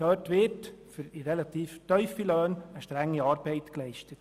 Dort wird für relativ tiefe Löhne strenge Arbeit geleistet.